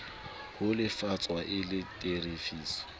ho lefshwa e le tefiso